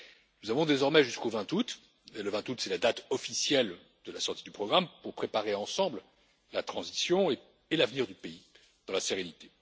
Nous avons désormais jusqu'au 20 août, et le 20 août est la date officielle de la sortie du programme, pour préparer ensemble la transition et l'avenir du pays dans la sérénité.